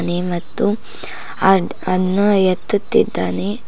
ನಿ ಮತ್ತು ಆ ಅಣ್ಣ ಎತ್ತುತ್ತಿದ್ದಾನೆ.